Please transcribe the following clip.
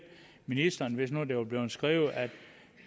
ministeren hvis nu der var blevet skrevet at